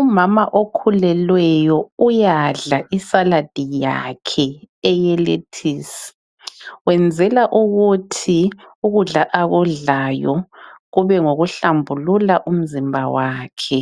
Umama okhulelweyo uyadla isaladi yakhe eyelethisi wenzela ukuthi ukudla akudlayo kube ngokuhlambulula umzimba wakhe